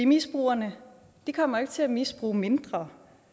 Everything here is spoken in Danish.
misbrugerne kommer ikke til at misbruge mindre